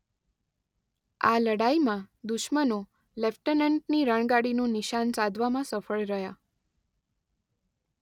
આ લડાઈમાં દુશ્મનો લેફ્ટનન્ટની રણગાડીનું નિશાન સાધવામાં સફળ રહ્યા.